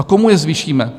A komu je zvýšíme?